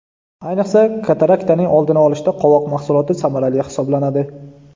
Ayniqsa, kataraktaning oldini olishda qovoq mahsuloti samarali hisoblanadi.